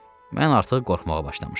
Mən artıq qorxmağa başlamışdım.